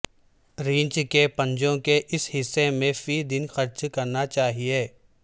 ریچھ کے پنجوں کے اس حصے میں فی دن خرچ کرنا چاہئے